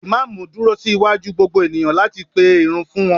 imamu dúró sí waju gbogbo eniyan lati pe Irun fún wan